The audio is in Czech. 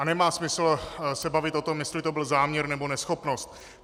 A nemá smysl se bavit o tom, jestli to byl záměr nebo neschopnost.